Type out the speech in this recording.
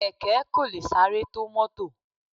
Kẹ̀kẹ́ kò lè sáré tó mọ́tọ̀.